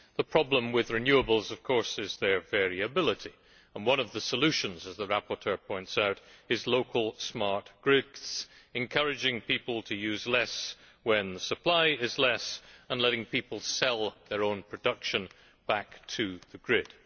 The problem with renewables, of course, is their variability, and one of the solutions as the rapporteur points out is local smart grids encouraging people to use less when supply is less and letting people sell their own production back to the grid.